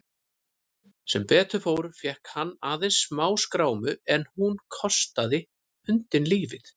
Sem betur fór fékk hann aðeins smáskrámu en hún kostaði hundinn lífið.